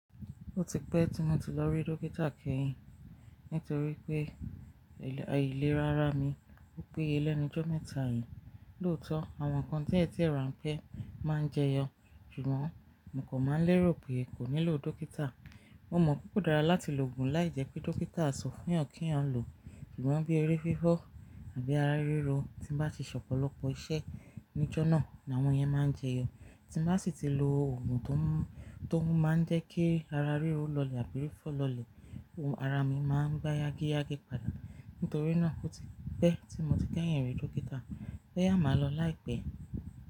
Ó ti pẹ́ tí mo ti lọ rí dókítà kẹ́yìn nítorí pé ilera ìlera ara mi. Ó pé ye lẹ́nu jọ́ mẹ́ta yìí. Lóòótọ́ àwọn nnkan tí ẹ̀tẹ̀ rà ń pẹ́ máa ń jẹyọ, ṣùgbọ́n mo kò mọ à lérò pé è kò nílò dókítà. Mo mọ̀ pé kò dára láti lo ògùn láìjẹ́ pé dókítà sọ fún yan kí yan lò. Ṣùgbọ́n bí eré fífọ́ àbí ara ríro tí n bá ti ṣe ọ̀pọ̀lọpọ̀ iṣẹ́ ijọ́ náà ni àwọn yẹn máa ń jẹyọ. Tí n bá sì tí lo ògùn to to n máa ń jẹ́ kí ara ríro lọlẹ̀ àbí fífọ́ lọlẹ̀, ara mi máa ń gba yágíyágí padà. Nítorí náà ó ti pẹ́ tí mo ti kẹ́yìn rí dókítà. Bo yà máa lọ láìpẹ́.